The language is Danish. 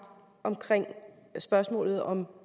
af spørgsmålet om